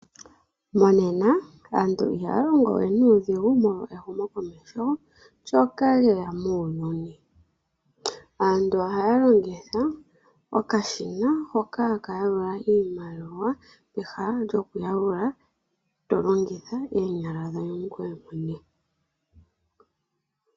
Monena aantu ihaya longo we nuudhigu molwa ehumo komesho lyeya muuyuni. Aantu ohaya lingitha okashina hoka haka longithwa okuyalula iimaliwa pehala lyokuyalula tolongitha oonyala dhoye ngoye mwene.